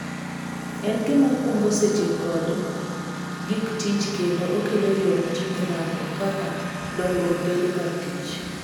En gima kungo seche kod gik tich kendo okelo yot erango kaka dongruok bedo kar tich.